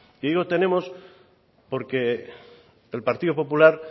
y digo tenemos porque el partido popular